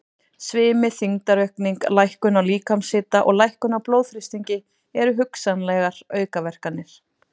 Svimi, þyngdaraukning, lækkun á líkamshita og lækkun á blóðþrýstingi eru hugsanlegar aukaverkanir.